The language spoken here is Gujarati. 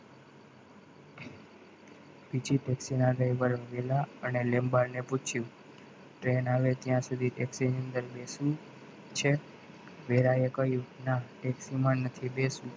બીજી taxi ના labour વેલા લેંબાડને પૂછ્યું train આવે ત્યાં સુધી taxi ની અંદર બેસુ છે વહેલા એ કહ્યું ના taxi માં નથી બેસવું.